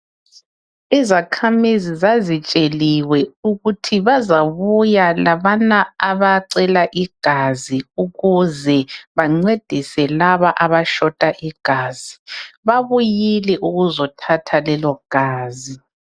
izakhamizi zazitsheliwe ukuthi bazabuya labana abacela igazi ukuze bancedise laba abashota igazi babuyile ukzothatha lelo gazi